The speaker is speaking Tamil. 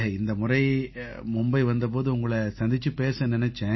இந்தமுறை மும்பை வந்த போது உங்களை சந்திச்சுப் பேச நினைச்சேன்